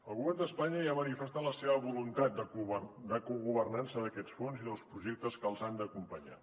el govern d’espanya ja ha manifestat la seva voluntat de cogovernança d’aquests fons i dels projectes que els han d’acompanyar